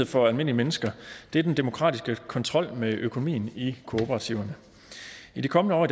for almindelige mennesker er den demokratiske kontrol med økonomien i kooperativerne i de kommende år